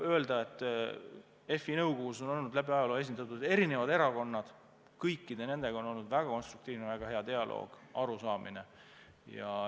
FI nõukogus on olnud esindatud erinevad erakonnad, kõikide nendega on olnud väga konstruktiivne ja väga hea dialoog, arusaamine.